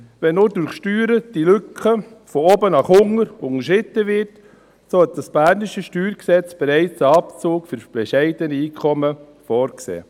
Wird nun durch Steuern die Lücke von oben nach unten unterschritten, hat das bernische StG bereits einen Abzug für bescheidene Einkommen vorgesehen.